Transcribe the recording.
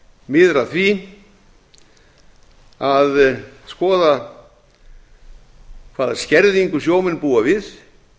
miðar að því að skoða hvaða skerðingu sjómenn búa við